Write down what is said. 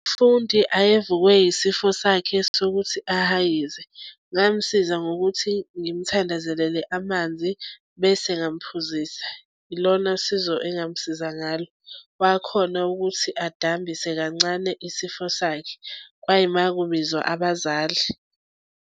Fundi ayevukwe isifo sakhe sokuthi ahayize ngamsiza ngokuthi ngimthandazelele amanzi bese ngamphuzise. Ilona sizo engamusiza ngalo wakhona ukuthi adambisa kancane isifo sakhe, kwayima kubizwa abazali.